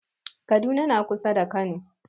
Kaduna na kusa da kano